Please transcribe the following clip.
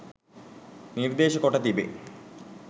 නිර්දේශ කොට තිබේ.